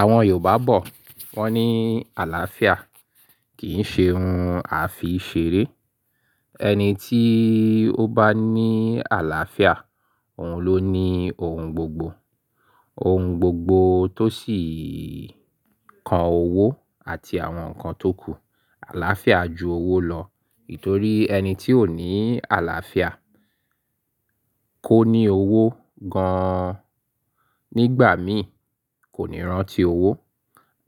Àwọn Yorùbá bọ̀ wọ́n ní àlàáfíà kì í ṣe ohun àfi ṣeré. Ẹni tí ó bá ní àlàáfíà, òun ló ní ohun gbogbo. Ohun gbogbo tó sì kan owó àti àwọn nǹkan tó kù. Àlàáfíà ju owó lọ, nítorí ẹni tí ò ní àlàáfíà kó ní owó gan-an nígbà mìí kò ní rántí owó.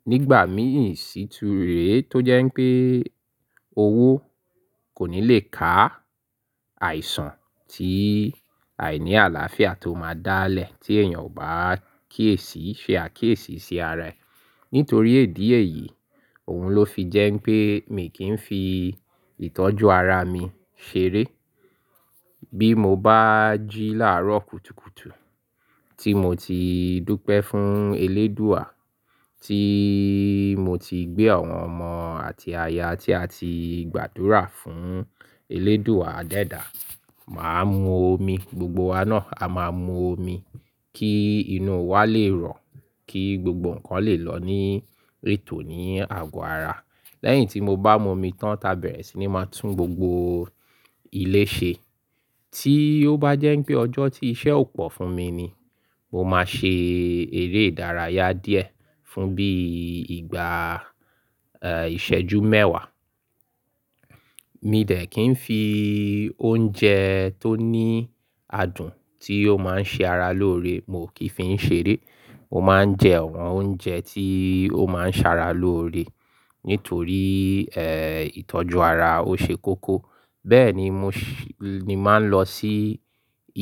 Nígbà mìí siture tó jẹ́ pé owó kò ní lè ká àìsàn tí àìní àlàáfíà tó máa dá lẹ̀ tí èèyàn ò bá kí èsì ṣe àkíyèsí sí ara ẹ̀. Nítorí idi eyi, òun ló fi jẹ́ pé mi kì í fi ìtọ́jú ara mi ṣeré. Bí mo bá jí láàárọ̀ kùtùkùtù tí mo ti dúpẹ́ fún Eléédùà, tí mo ti gbé àwọn ọmọ àti aya tí a ti gbàdúrà fún Eléédùà adẹ́da, màá mu omi, gbogbo wa náà a máa mu omi kí inú wa lè rọ̀, kí gbogbo nǹkan lè lọ ní rètò ní ago ara. Lẹ́yìn tí mo bá mu omi tán, ta bẹ̀rẹ̀ sí ní máa tún gbogbo ilé ṣe. Tí ó bá jẹ́ pé ọjọ́ tí iṣẹ́ ò pọ̀ fún mi ni, mo máa ṣe eré ìdárayá díẹ̀ fún bí ìgbà, ẹ̀, ìṣẹ́jú mẹ́wàá. Mì dẹ́ kí ń fi oúnjẹ tó ní adùn tí ó máa ń ṣe ara lóore, mo kì í fi ń ṣeré. Mo máa ń jẹ àwọn oúnjẹ tí ó máa ń ṣara lóore nítorí, ẹ̀, ìtọ́jú ara ó ṣe koko. Bẹ́ẹ̀ ni mo ṣi-- ni máa ń lọ sí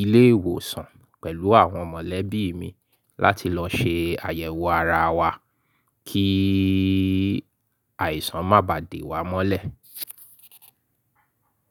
ilé ìwòsàn pẹ̀lú àwọn mọ̀lẹ́bí mi láti lọ ṣe àyẹ̀wò ara wa kí àìsàn má bà dé wa mọ́lẹ̀.